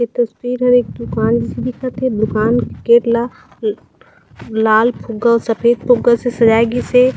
इ तस्वीर में एक दूकान जिसे दिखत हे दुकान के गेट ला ल लाल फुग्गा अउ सफ़ेद फुग्गा से सजाय गिस हे।